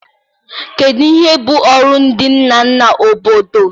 Kedu ihe bụ ọrụ ndị nna na obodo?